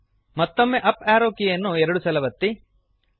ಮತ್ತೊಮ್ಮೆ up arrow ಕೀಯನ್ನು ಎರಡು ಸಲ ಒತ್ತಿರಿ